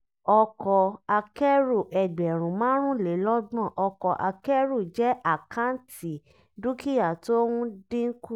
ọkọ̀ akẹ́rù ẹgbẹ̀rún márùnlélọ́gbọ̀n ọkọ̀ akẹrù jẹ́ àkáǹtì dúkìá tó ń dínkù.